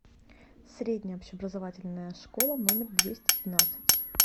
средняя общеобразовательная школа номер двести двенадцать